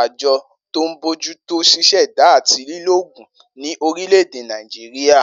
àjo̩ tó ń bójútó s̩ís̩è̩dá àti lílo ògùn ní orílè̩-èdè Nàìjíríà